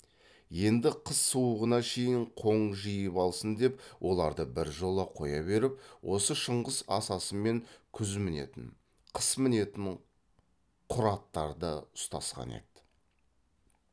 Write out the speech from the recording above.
енді қыс суығына шейін қоң жиып алсын деп оларды біржола қоя беріп осы шыңғыс асасымен күз мінетін қыс мінетін құр аттарды ұстасқан еді